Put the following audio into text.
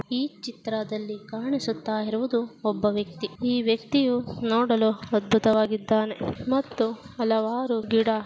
ಈ ಚಿತ್ರದಲ್ಲಿ ಕಾಣಿಸುತ್ತಾ ಇರುವುದು ಒಬ್ಬ ವ್ಯಕ್ತಿ. ಈ ವ್ಯಕ್ತಿಯು ನೋಡಲು ಅದ್ಭುತವಾಗಿದ್ಧಾನೆ ಮತ್ತು ಹಲವಾರು ಗಿಡ--